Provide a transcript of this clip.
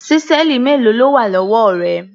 Ṣísẹ́ẹ̀lì mélòó ló wà lọ́wọ́ rẹ?